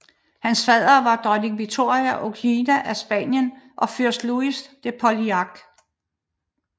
Hans faddere var Dronning Victoria Eugenia af Spanien og Fyrst Louis de Polignac